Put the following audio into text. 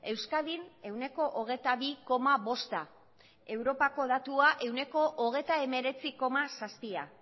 euskadin ehuneko hogeita bi koma bosta europako datua ehuneko hogeita hemeretzi koma zazpia